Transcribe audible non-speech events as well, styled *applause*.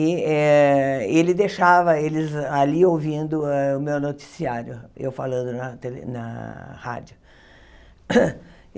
E eh ele deixava eles ali ouvindo o meu noticiário, eu falando na tele na rádio. *coughs*